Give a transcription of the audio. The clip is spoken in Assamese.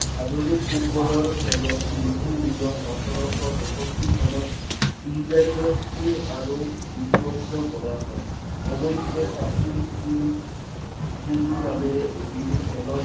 আধুনিক ফুটবলৰ খেলত যি নিয়ম ওঠৰশ তেৰষষ্ঠি চনত স্থিৰ আৰু বিধিবদ্ধ কৰা হয় অবশ্য প্ৰাচীন চীন নামেৰে এবিধ খেলৰ